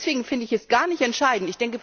Deswegen finde ich es gar nicht entscheidend.